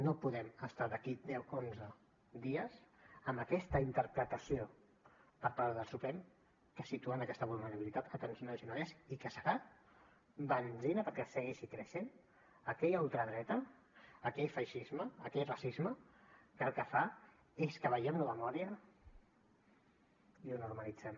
no podem estar d’aquí a deu onze dies amb aquesta interpretació per part del suprem que situa en aquesta vulnerabilitat tants nois i noies i que serà benzina perquè segueixi creixent aquella ultradreta aquell feixisme aquell racisme que el que fa és que veiem això de mòria i ho normalitzem